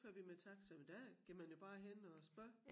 Kører vi med taxa men der går jo bare hen og spørger